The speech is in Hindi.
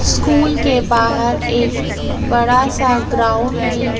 स्कूल के बाहर एक बड़ा सा ग्राउंड भी--